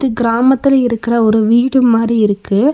கிராமத்துல இருக்கற ஒரு வீடு மாரி இருக்கு.